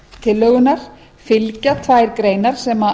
tillögunnar byggja tvær greinar sem